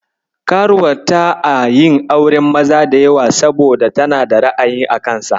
Karuwar ta a yin auren maza da yawa saboda tana da ra'ayi a kansa.